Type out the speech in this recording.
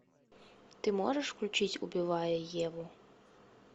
ты можешь включить убивая еву